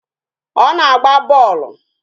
Ọ na-agba bọọlụ